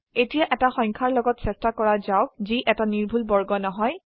এতিয়া এটা সংখ্যাৰ লগত চেষ্টা কৰা যাওক যি এটা নিৰ্ভুল বৰ্গ নহয়